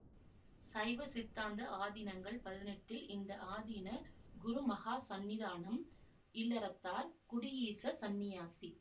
சைவசித்தாந்த ஆதீனங்கள் பதினெட்டில் இந்த ஆதீன குருமகாசந்நிதானம் இல்லறத்தார் குடியீச சந்நியாசி